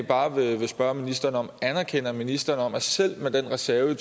bare vil spørge ministeren om anerkender ministeren at selv med den reserve i